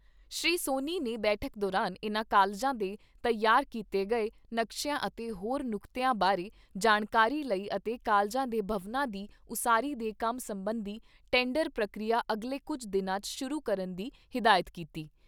ਸ੍ਰੀ ਸੋਨੀ ਨੇ ਬੈਠਕ ਦੌਰਾਨ ਇਨ੍ਹਾਂ ਕਾਲਜਾਂ ਦੇ ਤਿਆਰ ਕੀਤੇ ਗਏ ਨਕਸ਼ਿਆਂ ਅਤੇ ਹੋਰ ਨੁਕਤਿਆਂ ਬਾਰੇ ਜਾਣਕਾਰੀ ਲਈ ਅਤੇ ਕਾਲਜਾਂ ਦੇ ਭਵਨਾਂ ਦੀ ਉਸਾਰੀ ਦੇ ਕੰਮ ਸਬੰਧੀ ਟੈਂਡਰ ਪ੍ਰਕਿਰਿਆ ਅਗਲੇ ਕੁੱਝ ਦਿਨਾਂ 'ਚ ਸ਼ੁਰੂ ਕਰਨ ਦੀ ਹਿਦਾਇਤ ਕੀਤੀ।